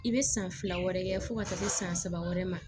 I bɛ san fila wɛrɛ kɛ fo ka taa se san saba wɛrɛ ma